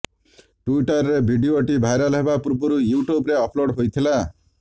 ଟ୍ୱିଟର୍ରେ ଭିଡିଓଟି ଭାଇରାଲ୍ ହେବା ପୂର୍ବରୁ ୟୁଟ୍ୟୁବ୍ରେ ଅପଲୋଡ୍ ହୋଇଥିଲା